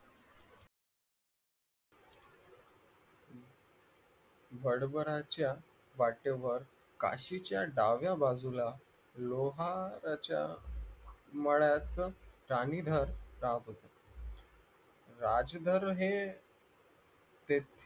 पाठीवर काशीच्या डाव्या बाजूला लोहाराच्या मळ्यात राणीधरगाव होते